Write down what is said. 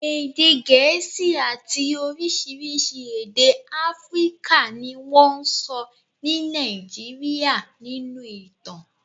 Èdè Gẹ̀ẹ́sì àti oríṣiríṣi èdè Áfíríkà ni wọ́n ń sọ ní Nàìjíríà nínú ìtàn